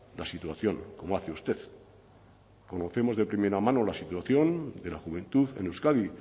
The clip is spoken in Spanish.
la situación como hace usted conocemos de primera mano la situación de la juventud en euskadi